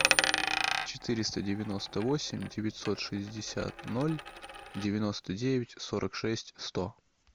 четыреста девяносто восемь девятьсот шестьдесят ноль девяносто девять сорок шесть сто